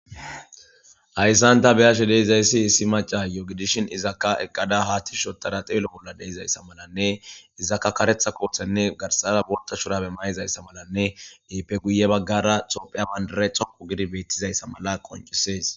ayssanta beashe deizayssi issi maca yoogidishin izakka eqqada haatti shotada xeelo bolla deizayssa malanne izaka karetha koothenne garsara borta shurabe mayizayssa malanne eipe guye baggara xophiya bandarethoko gidi beettizayssa mala qoncisees